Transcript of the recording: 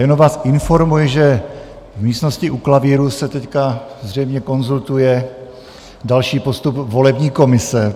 Jenom vás informuji, že v místnosti u klavíru se teď zřejmě konzultuje další postup volební komise.